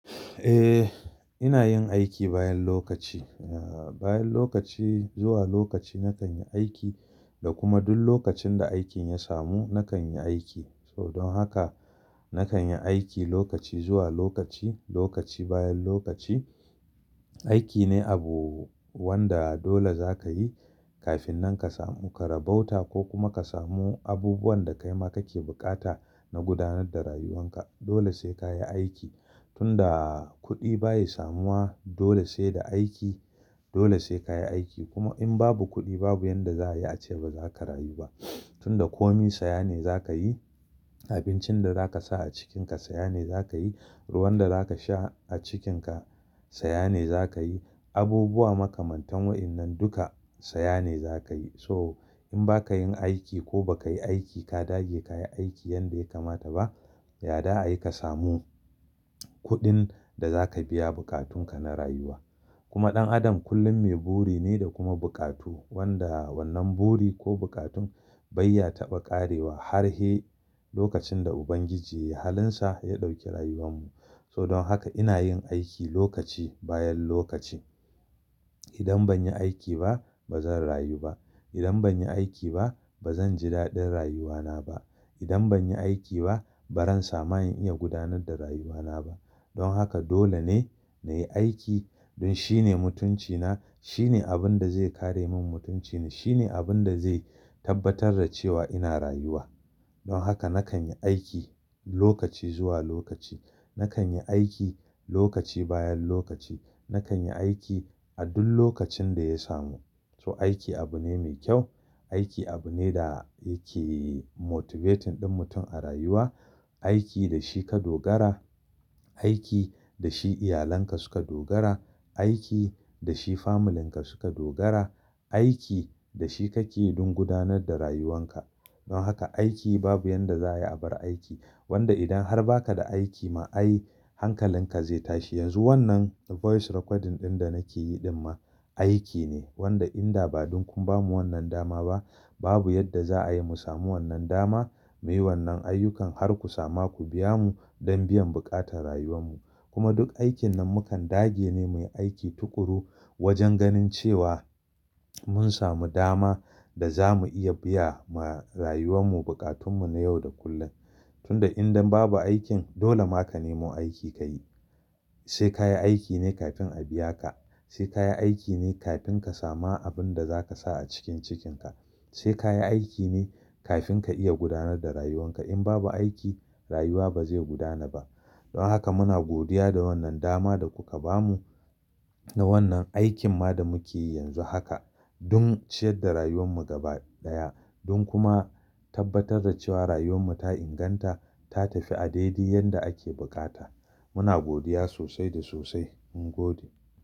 Eh, ina yin aiki bayan lokaci. A bayan lokaci, zuwa lokaci nakan yi aiki da kuma duk lokacin da aikin ya samu nakan yi aiki. So don haka nakan yi aiki lokaci zuwa lokaci, lokaci bayan lokaci. Aiki ne abu wanda dole za ka yi kafin nan ka samu karabauta ko kuma ka samu abubuwan da kaima kake buƙata na gudanar da rayuwan ka. Dole sai ka yi aiki. Tun da kuɗi ba ya samuwa dole sai da aiki. Dole sai ka yi aiki. Kuma in babu kuɗi babu yanda za a yi ace ba za ka rayu ba. Tun da komi saya ne za ka yi, abincin da za ka sa a cikinka saya ne za ka yi, ruwan da za ka sha a cikinka saya ne za ka yi, abubuwa makamantan wa'innan duka saya ne za ka yi. So in ba ka yin aiki ko ba ka yi aiki ka dage ka yi aiki yanda ya kamata ba, yadda ayi ka samu kuɗin da za ka biya buƙatun ka na rayuwa. Kuma ɗan adam kullum mai buri ne da kuma buƙatu wanda wannan buri ko buƙatun bai ya taɓa ƙarewa har he lokacin da Ubangiji yai halinsa ya ɗauki rayuwan mu. So don haka ina yin aiki lokaci bayan lokaci. Idan ban yi aiki ba ba zan rayu ba. Idan ban yi aiki ba ba zan ji daɗin rayuwa na ba. Idan ban yi aiki ba ba zan sama in iya gudanar da rayuwa na ba. Don haka dole ne na yi aiki don shine mutunci na, shine abin da zai kare min mutunci na, shine abin da zai tabbatar da cewa ina rayuwa. Don haka nakan yi aiki lokaci zuwa lokaci, nakan yi aiki lokaci bayan lokaci, nakan yi aiki a duk lokacin da ya samu. So aiki abu ne mai kyau. Aiki abu ne da yake motivating ɗan mutum a rayuwa. Aiki da shi ka dogara, aiki da shi iyalanka suka dogara, aiki da shi familinka suka dogara, aiki da shi kake yi don gudanar da rayuwan ka. Don haka aiki babu yanda za a yi abar aiki. Wanda idan har ba ka da aiki ma ai hankalin ka zai tashi. Yanzu wannan voice recording ɗin da nake yi ɗin ma aiki ne. Wanda idan ba dun kun ba mu wannan dama ba babu yadda za a yi mu samu wannan dama muyi wannan ayyukan har ku samu ku biya mu don biyan buƙatan rayuwan mu. Kuma duk aikin nan mukan dage ne muyi aiki tuƙuru wajen ganin cewa mun samu dama da za mu iya biya ma rayuwan mu bukatun mu na yau da kullum. Tun da idan babu aikin dole ma ka nemo aiki ka yi. Sai ka yi aiki ne kafin a biya ka. Sai ka yi aiki ne kafin ka samu abin da za ka sa a cikin cikinka. Sai ka yi aiki ne kafin ka iya gudanar da rayuwan ka. In babu aiki rayuwa ba zai gudana ba. Don haka muna godiya da wannan dama da kuka ba unan da wannan aikin ma da muke yi yanzu haka don ciyar da rayuwan mu gaba ɗaya don kuma tabbatar da cewa rayuwan mu ta inganta, ta tafi a daidai yanda ake bukata. Muna godiya sosai da sosai. Mun gode.